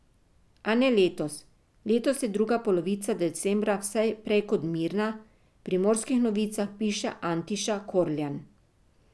A ne letos, letos je druga polovica decembra vse prej kot mirna, v Primorskih novicah piše Antiša Korljan.